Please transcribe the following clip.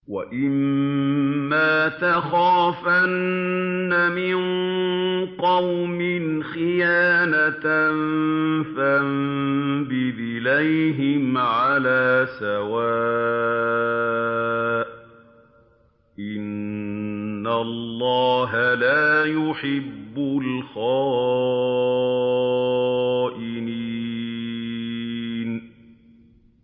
وَإِمَّا تَخَافَنَّ مِن قَوْمٍ خِيَانَةً فَانبِذْ إِلَيْهِمْ عَلَىٰ سَوَاءٍ ۚ إِنَّ اللَّهَ لَا يُحِبُّ الْخَائِنِينَ